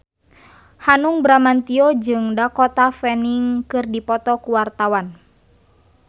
Hanung Bramantyo jeung Dakota Fanning keur dipoto ku wartawan